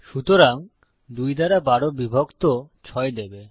সুতরাং ২ দ্বারা ১২ বিভক্ত ৬ দেবে